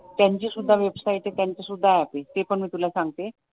त्यांची सुद्धा वेबसाईट आहे ते पण मी तुला सांगते